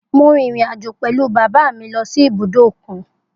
Mo rin irin-ajo pẹlu baba mi si ibudo okun.